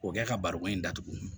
K'o kɛ ka baroko in datugu